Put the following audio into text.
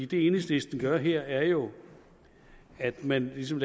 det enhedslisten gør her er jo at man ligesom